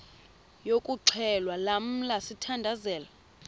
yokuxhelwa lamla sithandazel